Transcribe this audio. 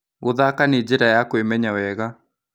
Gũthaka nĩ njĩra ya kwĩmenya wega.